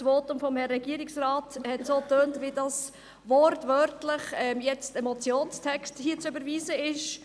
Das Votum des Regierungsrates hat geklungen, als wäre hier wortwörtlich ein Motionstext zu überweisen.